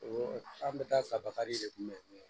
An bɛ taa fan bakari de kunbɛn